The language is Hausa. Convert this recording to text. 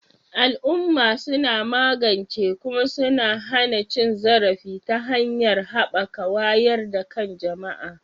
Al'umma suna magance kuma suna hana cin zarafi ta hanyar haɓaka wayar da kan jama'a